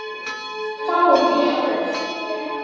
Fáið ykkur.